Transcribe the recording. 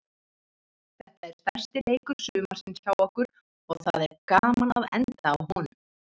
Þetta er stærsti leikur sumarsins hjá okkur og það er gaman að enda á honum.